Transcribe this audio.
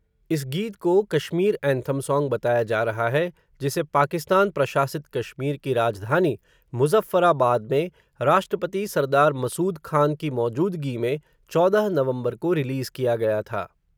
इस गीत को, कश्मीर एंथम सॉन्ग, बताया जा रहा है, जिसे पाकिस्तान प्रशासित कश्मीर की राजधानी, मुज़फ़्फ़राबाद में, राष्ट्रपति सरदार मसूद ख़ान की मौजूदगी में, चौदह नवंबर को रिलीज़ किया गया था.